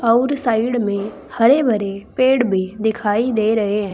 आउर साइड में हरे भरे पेड़ भी दिखाई दे रहे हैं।